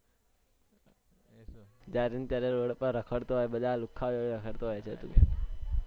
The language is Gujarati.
જ્યાં ત્યારે road પર રખડતો હોય બધા લુખ્ખા ઓ જોડે રખડતો હોય છે તું